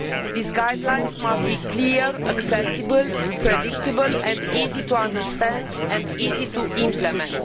These guidelines must be clear, accessible, predictable and easy to understand and implement.